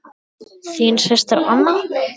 Þín systir Anna.